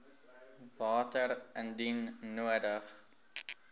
water indien nodig